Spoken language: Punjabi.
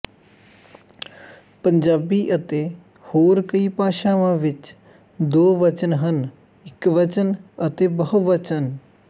ਪੰਜਾਬੀ ਅਤੇ ਹੋਰ ਕਈ ਭਾਸ਼ਾਵਾਂ ਵਿੱਚ ਦੋ ਵਚਨ ਹਨ ਇੱਕ ਵਚਨ ਅਤੇ ਬਹੁਵਚਨ